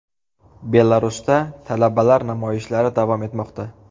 Belarusda talabalar namoyishlari davom etmoqda.